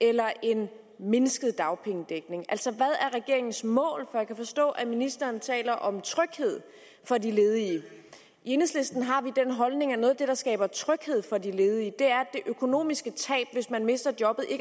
eller en mindsket dagpengedækning altså hvad er regeringens mål jeg kan forstå at ministeren taler om tryghed for de ledige i enhedslisten har vi den holdning at noget af det der skaber tryghed for de ledige er det økonomiske tab hvis man mister jobbet ikke